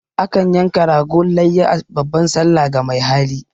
A kan yanka ragon layya a babban sallah ga mai hali.